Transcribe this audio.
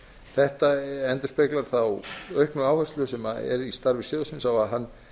þetta endurspeglar þá auknu áherslu sem er á störfum sjóðsins á að hann